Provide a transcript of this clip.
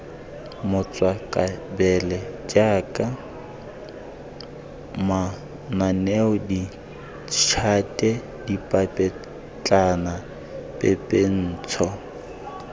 matswakabele jaaka mananeo ditšhate dipapetlanapepentsho